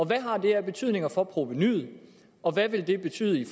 hvad har det af betydning for provenuet og hvad vil det betyde